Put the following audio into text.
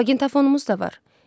Maqnitafonumuz da var.